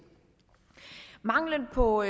mangelen på